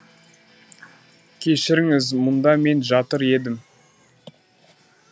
кешіріңіз мұнда мен жатыр едім